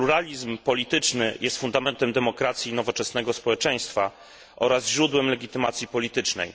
Pluralizm polityczny jest fundamentem demokracji i nowoczesnego społeczeństwa oraz źródłem legitymacji politycznej.